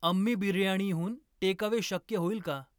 अम्मी बिर्याणीहून टेकअवे शक्य होईल का ?